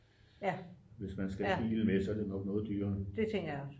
hvis man skal have bilen med er det nok noget dyrere